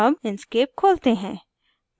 अब inkscape खोलते हैं